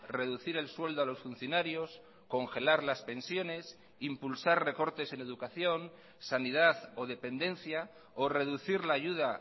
reducir el sueldo a los funcionarios congelar las pensiones impulsar recortes en educación sanidad o dependencia o reducir la ayuda